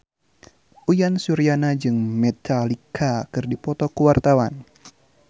Uyan Suryana jeung Metallica keur dipoto ku wartawan